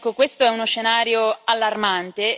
Questo è uno scenario allarmante.